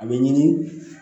A bɛ ɲini